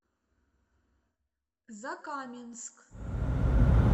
закаменск